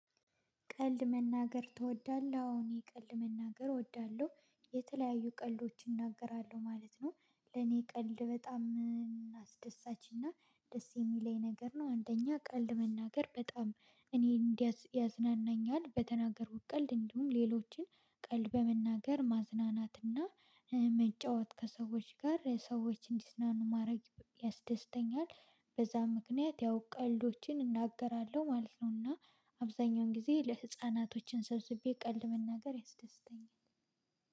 ቀልድ መናገር ትወዳለህ? አዎ እኔ ቀልድ መናገር እወዳለሁ የተለያዩ ቀልዶች እናገራለሁ ማለት ነው። ለኔ ቀልድ በጣም አስደሳችና ደስ የሚለኝ ነገር ነው። አንደኛ ቀልድ መናገር በጣም እኔ እንዲ ያዝናናኛል በተናገርኩት ቀልድ እንዲሁም ሌሎችን ቀልድ በመናገር ማዝናናትና መጫወት ከሰዎች ጋር ሰዎች እንዲዝናኑ ማድረግ ያስደስተኛል። በዛ ምክንያት ያው ቀልዶችን እናገራለሁ ማለት ነው። እና አብዛኛውን ጊዜ ለህፃናቶችን ሰብስቤ ቀልድ መናገር ያስደስተኛል።